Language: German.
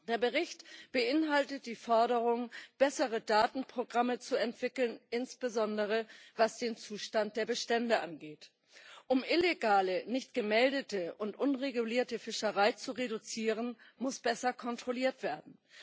Der Bericht beinhaltet die Forderung, bessere Datenprogramme zu entwickeln, insbesondere, was den Zustand der Bestände angeht. Um illegale, nicht gemeldete und unregulierte Fischerei zu reduzieren, muss besser kontrolliert werden.